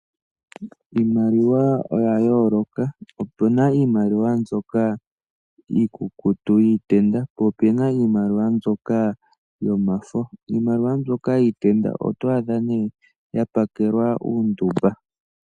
Iimaliwa oya yoolaka opena iimaliwa mbyoka yiikukutu yiitenda po opena iimaliwa mbyoka yomafo. Iimaliwa mbyoka yiitenda otwaadha nee ya pakelwa uunduba.